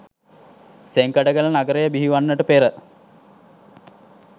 සෙංකඩගල නගරය බිහිවන්නට පෙර